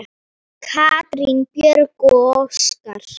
Katrín Björg og Óskar.